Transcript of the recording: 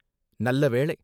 நல்ல வேளை.